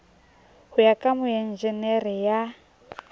ho ya ka moenjenere ya